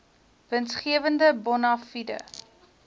winsgewende bona fide